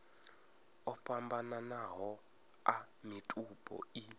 o fhambananaho a mitupo i